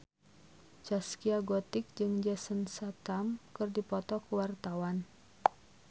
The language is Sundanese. Zaskia Gotik jeung Jason Statham keur dipoto ku wartawan